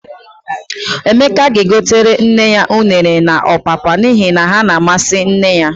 Emeka ga-egotere nne ya unere na ọpapa n'ihi na ha na-amasị nne ya.